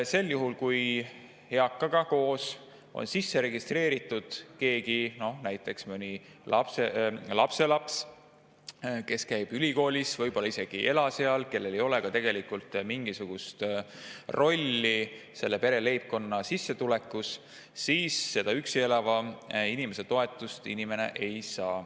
Sel juhul, kui eakaga on sisse registreeritud veel keegi, näiteks lapselaps, kes käib ülikoolis, kes võib-olla isegi ei ela seal ja kellel ei ole ka mingisugust rolli selle leibkonna sissetulekutes, siis seda üksi elava inimese toetust see pensionär ei saa.